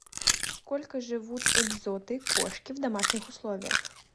сколько живут экзоты кошки в домашних условиях